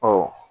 Ɔ